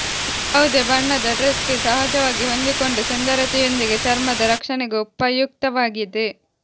ಯಾವುದೇ ಬಣ್ಣದ ಡ್ರೇಸ್ಗೆ ಸಹಜವಾಗಿ ಹೊಂದಿಕೊಂಡು ಸುಂದರತೆಯೊಂದಿಗೆ ಚರ್ಮದ ರಕ್ಷಣೆಗೂ ಪಯುಕ್ತವಾಗಿದೆ